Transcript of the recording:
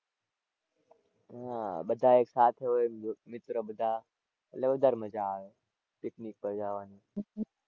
હાં બધા એક સાથે હોય મિત્ર બધા એટલે વધારે મજા આવે picnic પર જવાની.